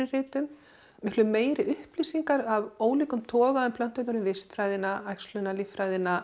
ritum miklu meiri upplýsingar af ólíkum toga um plönturnar um vistfræðina